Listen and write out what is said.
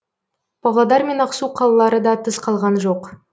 павлодар мен ақсу қалалары да тыс қалған жоқ